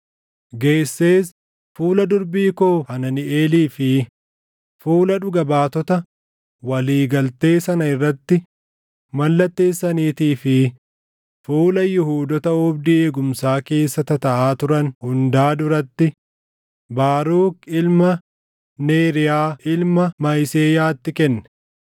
geessees fuula durbii koo Hananiʼeelii fi fuula dhuga baatota walii galtee sana irratti mallatteessaniitii fi fuula Yihuudoota oobdii eegumsaa keessa tataaʼaa turan hundaa duratti Baaruk ilma Neeriyaa ilma Mahiseyaatti kenne.